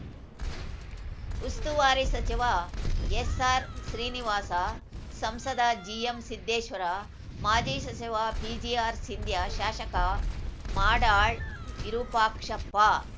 ಉಸ್ತುವಾರಿ ಸಚಿವ ಎಸ್‌ಆರ್‌ಶ್ರೀನಿವಾಸ ಸಂಸದ ಜಿಎಂಸಿದ್ದೇಶ್ವರ ಮಾಜಿ ಸಚಿವ ಪಿಜಿಆರ್‌ಸಿಂಧ್ಯಾ ಶಾಶಕ ಮಾಡಾಳ್‌ ವಿರುಪಾಕ್ಷಪ್ಪ